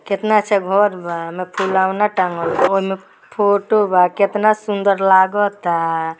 केतना अच्छा घर बा। ओइमे फुलोना टाँगल बा। ओइमे फोटो बा। केतना सुन्दर लागता।